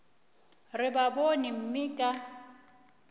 re ba bone mme ka